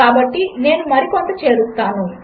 కాబట్టినేనుమరికొంతచేరుస్తాను